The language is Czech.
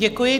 Děkuji.